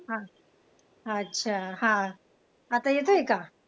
हा अच्छा हा. आता येतोय का?